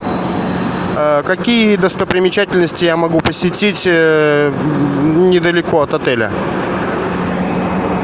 какие достопримечательности я могу посетить недалеко от отеля